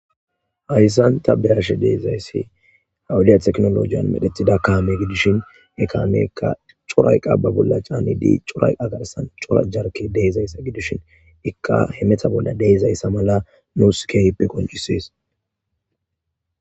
Hassan ta beashe deizayssi ha woode tekkinolojjen medhdhetida kaame giidishin he kaameka cora eqqa ba bolla caanidi coora eqqa garssan coora jarkaney deiizayssa gidishin iika hemetta bolla deizayssa malla nus qonccises.